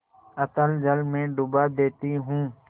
अतल जल में डुबा देती हूँ